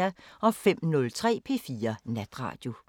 05:03: P4 Natradio